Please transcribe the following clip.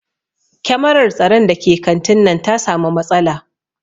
Kyamarar tsaron da ke kantin nan ta samu matsala